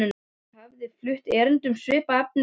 Hafði ég áður flutt erindi um svipað efni hjá